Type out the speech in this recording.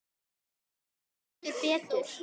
Hver bíður betur?